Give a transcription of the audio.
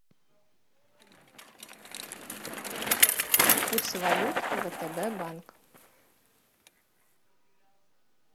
курс валют втб банк